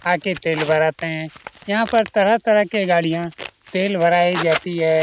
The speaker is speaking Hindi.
आके तेल भराते हैं यहाँ पर तरह-तरह के गाड़ियां तेल भराए जाती है।